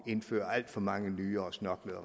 indføre alt for mange nye og snørklede